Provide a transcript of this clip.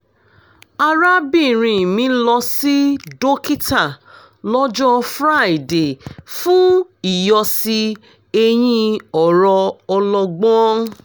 arábìnrin mi lọ sí dókítà lọ́jọ́ friday fún ìyọ̀sí eyín ọ̀rọ̀ ọlọ́gbọ́n